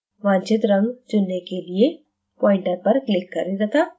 वांछित रंग चुनने के लिए pointer पर click करें तथा घुमाएं